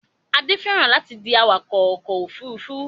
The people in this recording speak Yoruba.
Adé fẹ́ràn láti di awakọ̀ ọkọ̀-òfurufú